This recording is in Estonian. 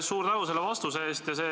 Suur tänu selle vastuse eest!